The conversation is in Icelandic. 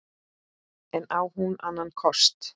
En á hún annan kost?